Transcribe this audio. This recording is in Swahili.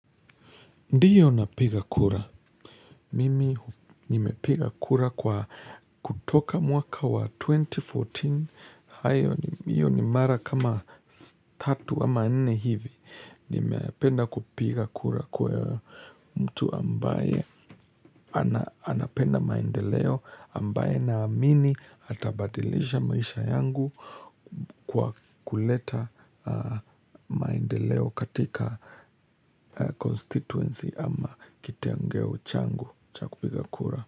Ndiyo napiga kura. Mimi nimepiga kura kwa kutoka mwaka wa 2014. Hiyo ni mara kama 3 ama 4 hivi. Nimependa kupiga kura kwa mtu ambaye anapenda maendeleo. Ambaye naamini atabadilisha maisha yangu kwa kuleta maendeleo katika constituency ama kitengeo changu cha kupiga kura.